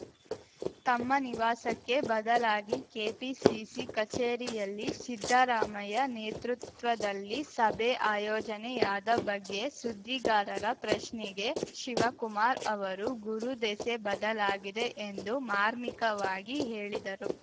ತಮ್ಮ ನಿವಾಸಕ್ಕೆ ಬದಲಾಗಿ ಕೆಪಿಸಿಸಿ ಕಚೇರಿಯಲ್ಲಿ ಸಿದ್ದರಾಮಯ್ಯ ನೇತೃತ್ವದಲ್ಲಿ ಸಭೆ ಆಯೋಜನೆಯಾದ ಬಗ್ಗೆ ಸುದ್ದಿಗಾರರ ಪ್ರಶ್ನೆಗೆ ಶಿವಕುಮಾರ್‌ ಅವರು ಗುರು ದೆಸೆ ಬದಲಾಗಿದೆ ಎಂದು ಮಾರ್ಮಿಕವಾಗಿ ಹೇಳಿದರು